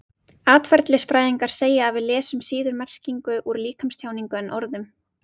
Atferlisfræðingar segja að við lesum ekki síður merkingu úr líkamstjáningu en orðum.